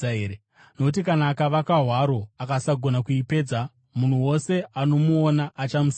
Nokuti kana akavaka hwaro akasagona kuipedza, munhu wose anomuona achamuseka,